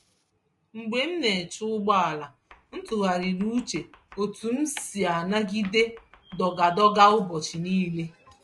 Mgbe m na-eche ụgbọ ala, ntụgharịrị uche otú m si anagide dọga-dọga ụbọchị nile